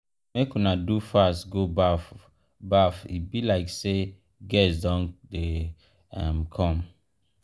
make una do fast go baff baff e be like say guest don um dey come.